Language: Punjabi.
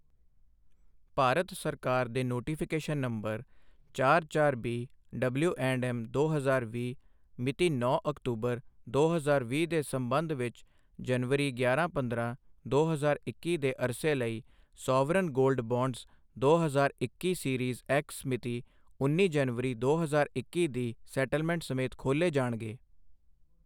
ਭਾਰਤ ਸਰਕਾਰ ਦੇ ਨੋਟੀਫਿਕੇਸ਼ਨ ਨੰਬਰ ਚਾਰ ਚਾਰ ਬੀ ਡਬਲਿਊਐਂਡਐਮ ਦੋ ਹਜ਼ਾਰ ਵੀਹ ਮਿਤੀ ਨੌਂ ਅਕਤੂਬਰ, ਦੋ ਹਜ਼ਾਰ ਵੀਹ ਦੇ ਸੰਬੰਧ ਵਿਚ ਜਨਵਰੀ, ਗਿਆਰਾਂ ਪੰਦਰਾਂ, ਦੋ ਹਜ਼ਾਰ ਇੱਕੀ ਦੇ ਅਰਸੇ ਲਈ ਸੋਵਰਨ ਗੋਲਡ ਬਾਂਡਜ਼ ਦੋ ਹਜ਼ਾਰ ਇੱਕੀ ਸੀਰੀਜ਼ ਐਕ੍ਸ ਮਿਤੀ ਉੱਨੀ ਜਨਵਰੀ, ਦੋ ਹਜ਼ਾਰ ਇੱਕੀ ਦੀ ਸੈਟਲਮੈਂਟ ਸਮੇਤ ਖੋਲ੍ਹੇ ਜਾਣਗੇ।